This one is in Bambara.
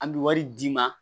An bɛ wari d'i ma